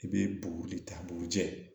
I bɛ buguri ta bugujɛ